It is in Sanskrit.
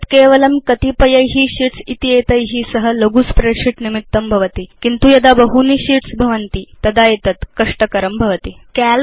एतद् केवलं कतिपयै शीट्स् इत्येतै सह लघु spreadsheet निमित्तं भवति किन्तु यदा बहूनि sheetsभवन्ति तदा एतद् कष्टकरं भवति